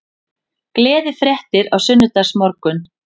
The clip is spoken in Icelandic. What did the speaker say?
Gleðifréttir á sunnudagsmorgun